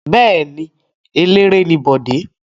Bẹ́ẹ̀ ni, eléré ni Bọ̀dé.